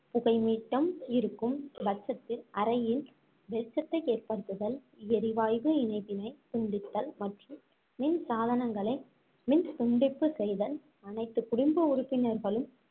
புகைமூட்டம் இருக்கும் பட்சத்தில் அறையில் வெளிச்சத்தை ஏற்படுத்துதல், எரிவாய்வு இணைப்பினை துண்டித்தல் மற்றும் மின் சாதனங்களை மின் துண்டிப்பு செய்தல், அனைத்து குடும்ப உறுப்பினர்களும்